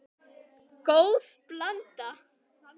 Góð blanda.